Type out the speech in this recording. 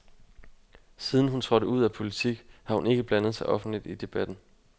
Siden hun trådte ud af politik, har hun ikke blandet sig offentligt i debatten.